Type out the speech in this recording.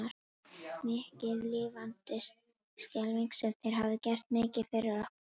Mikið lifandis skelfing sem þér hafið gert mikið fyrir okkur.